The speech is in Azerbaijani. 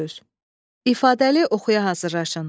İfadəli oxuya hazırlaşın.